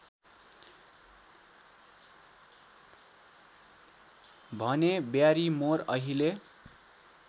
भने ब्यारिमोर अहिले